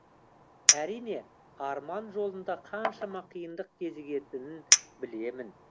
әрине арман жолында қаншама қиындық кезігетінін білемін